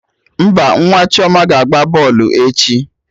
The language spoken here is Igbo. Mba, nwa Chioma ga agba bọlụ echi